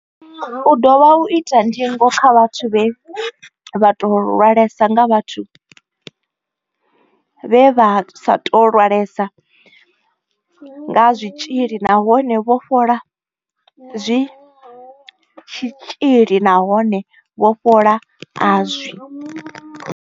U dovha u ita ndingo kha vhathu vhe vha sa tou lwalesa nga vhathu vhe vha sa tou lwalesa nga tshitzhili nahone vho fhola a zwi tshitzhili nahone vho fhola a zwi.